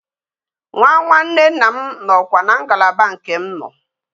Nwa nwanne nna nọ na kwa na ngalaba nke m no